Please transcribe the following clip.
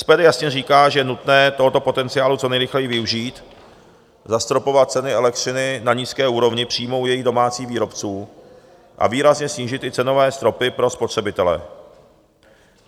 SPD jasně říká, že je nutné tohoto potenciálu co nejrychleji využít, zastropovat ceny elektřiny na nízké úrovni přímo u jejich domácích výrobců a výrazně snížit i cenové stropy pro spotřebitele.